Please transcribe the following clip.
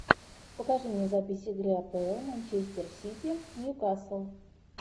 покажи мне запись игры апл манчестер сити ньюкасл